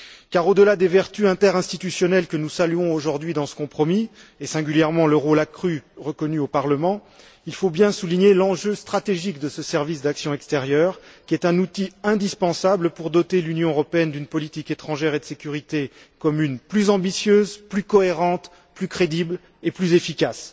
Car au delà des vertus interinstitutionnelles que nous saluons aujourd'hui dans ce compromis et, singulièrement, du rôle accru reconnu au Parlement, il faut bien souligner l'enjeu stratégique de ce service pour l'action extérieure, qui est un outil indispensable pour doter l'Union européenne d'une politique étrangère et de sécurité commune plus ambitieuse, plus cohérente, plus crédible et plus efficace.